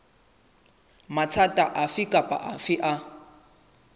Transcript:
mathata afe kapa afe a